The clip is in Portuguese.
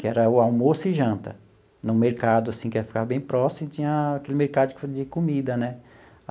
que era o almoço e janta, num mercado assim que ficava bem próximo e tinha aquele mercado de comida, né?